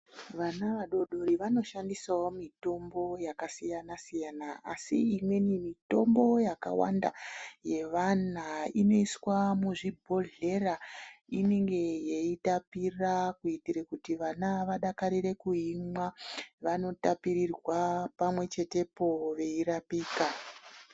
Vana vadoodori vanoshandisawo mitombo yakasiyana siyana asi imweni mitombo yakawanda yevana inoiswa muzvibhodhlera inenge yeitapira kuotire kuti vana vadakarire kuimwa vanotapirirwa pamwe chete poo veyirapika.